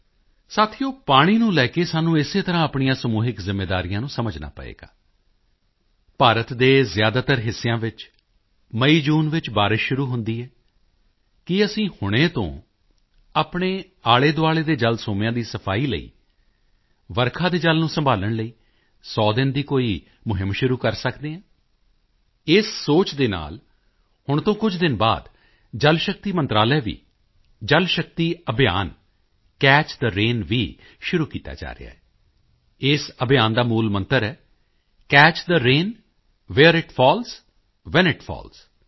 ਸਾਥੀਓ ਪਾਣੀ ਨੂੰ ਲੈ ਕੇ ਸਾਨੂੰ ਇਸੇ ਤਰ੍ਹਾਂ ਆਪਣੀਆਂ ਸਮੂਹਿਕ ਜ਼ਿੰਮੇਵਾਰੀਆਂ ਨੂੰ ਸਮਝਣਾ ਪਵੇਗਾ ਭਾਰਤ ਦੇ ਜ਼ਿਆਦਾਤਰ ਹਿੱਸਿਆਂ ਵਿੱਚ ਮਈਜੂਨ ਚ ਬਾਰਿਸ਼ ਸ਼ੁਰੂ ਹੁੰਦੀ ਹੈ ਕੀ ਅਸੀਂ ਹੁਣੇ ਤੋਂ ਆਪਣੇ ਆਲ਼ੇਦੁਆਲ਼ੇ ਦੇ ਜਲ ਸੋਮਿਆਂ ਦੀ ਸਫਾਈ ਲਈ ਵਰਖਾ ਦੇ ਜਲ ਨੂੰ ਸੰਭਾਲ਼ਣ ਲਈ 100 ਦਿਨ ਦੀ ਕੋਈ ਮੁਹਿੰਮ ਸ਼ੁਰੂ ਕਰ ਸਕਦੇ ਹਾਂ ਇਸ ਸੋਚ ਦੇ ਨਾਲ ਹੁਣ ਤੋਂ ਕੁਝ ਦਿਨ ਬਾਅਦ ਜਲ ਸ਼ਕਤੀ ਮੰਤਰਾਲੇ ਵੱਲੋਂ ਵੀ Jal Shakti Abhiyan catch the rain ਵੀ ਸ਼ੁਰੂ ਕੀਤਾ ਜਾ ਰਿਹਾ ਹੈ ਇਸ ਅਭਿਯਾਨ ਦਾ ਮੂਲਮੰਤਰ ਹੈ catch the rain where it falls when it falls